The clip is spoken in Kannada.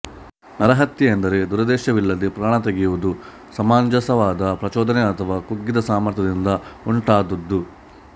ನರಹತ್ಯೆ ಎಂದರೆ ದುರುದ್ದೇಶವಿಲ್ಲದೆ ಪ್ರಾಣ ತೆಗೆಯುವುದು ಸಮಂಜಸವಾದ ಪ್ರಚೋದನೆ ಅಥವಾ ಕುಗ್ಗಿದ ಸಾಮರ್ಥ್ಯದಿಂದ ಉಂಟಾದುದು